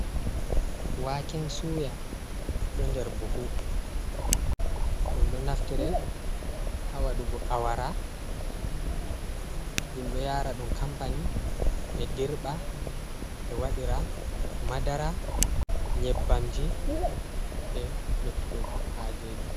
Waken suya ɗo nder buhu, ɗum ɗo naftire ha waɗugo awara, ɗum ɗo yara ɗum kampani ɓe dirɓa ɓe waɗira madara, nyebbamji, be luttuɗum hajeji.